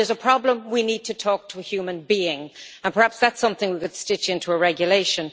When there is a problem, we need to talk to a human being, and perhaps that is something we could stitch into a regulation.